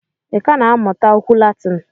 I ka na-amụta okwu Latin?